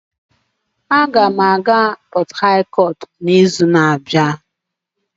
Aga m aga Port Harcourt n'izu na-abịa